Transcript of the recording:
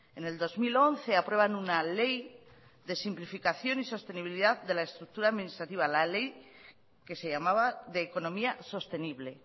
en el dos mil once aprueban una ley de simplificación y sostenibilidad de la estructura administrativa la ley que se llamaba de economía sostenible